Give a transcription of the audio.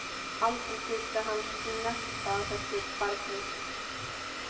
Bogga brosti og stakk vísifingri upp í sig.